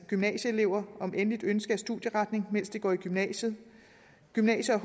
gymnasieelever om endeligt ønske af studieretning mens de går i gymnasiet og gymnasie